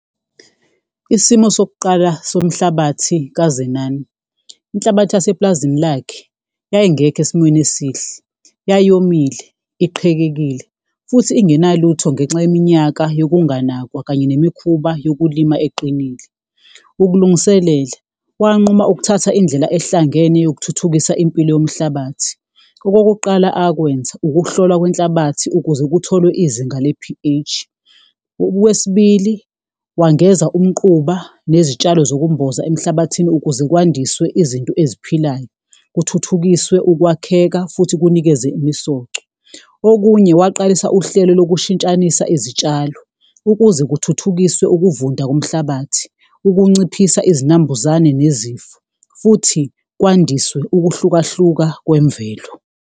Isimo sokuqala somhlabathi kaZenani, inhlabathi yasepulazini lakhe yayingekho esimweni esihle, yayomile, iqhekekile futhi ingenalutho ngenxa yeminyaka yokunganakwa kanye nemikhuba yokulima eqinile. Ukulungiselela, wanquma ukuthatha indlela ehlangene yokuthuthukisa impilo yomhlabathi, okokuqala akwenza ukuhlolwa kwenhlabathi ukuze kutholwe izinga le-P_H. Okwesibili wangeza umquba nezitshalo zokumboza emhlabathini ukuze kwandiswe izinto eziphilayo, kuthuthukiswe ukwakheka futhi kunikeze imisoco, okunye waqalisa uhlelo lokushintshanisa izitshalo. Ukuze kuthuthukiswe ukuvunda komhlabathi, ukunciphisa izinambuzane nezifo futhi kwandiswe ukuhlukahluka kwemvelo.